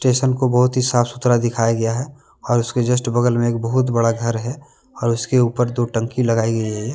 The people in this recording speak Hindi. टेशन को बहुत ही साफ सुथरा दिखाया गया है और उसके जस्ट बगल में एक बहुत बड़ा घर है और उसके ऊपर दो टंकी लगाई गई है।